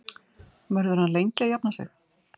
Verður hann lengi að jafna sig?